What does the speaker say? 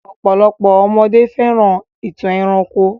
Ọ̀pọ̀lopọ̀ ọmọdé fẹ́ràn ìtàn ẹranko.